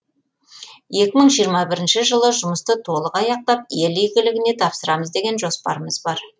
екі мың жиырма бірінші жылы жұмысты толық аяқтап ел игілігіне тапсырамыз деген жоспарымыз бар